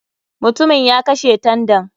MUtumin ya kashe tandan.